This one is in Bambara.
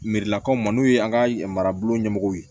Merilakaw ma n'o ye an ka marabolo ɲɛmɔgɔ ye